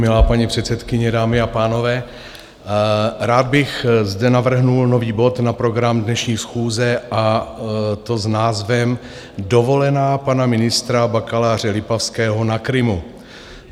Milá paní předsedkyně, dámy a pánové, rád bych zde navrhl nový bod na program dnešní schůze, a to s názvem Dovolená pana ministra bakaláře Lipavského na Krymu.